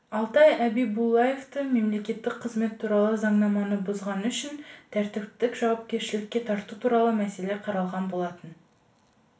алтай әбибуллаевты мемлекеттік қызмет туралы заңнаманы бұзғаны үшін тәртіптік жауапкершілікке тарту туралы мәселе қаралған болатын